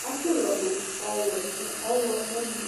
katsi ɔlɔ du ɔwɛ nu ɔɣlɔmɔ ni